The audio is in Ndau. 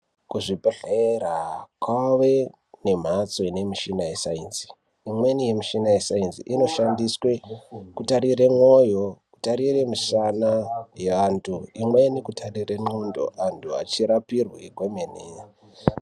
Kuzvibhedhlera kwave nemhatso ine mishina yescience imweni yemishina yescience inoshandiswe kutarire mwoyo kutarire musana yeantu imweni kutarire xondo antu achirapirwe kwemene.